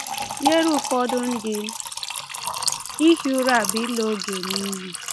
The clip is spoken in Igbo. Nyere ụfọdụ ndị, ihi ụra bụ ịla oge n’iyi.